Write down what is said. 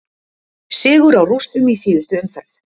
Sigur á Rússum í síðustu umferð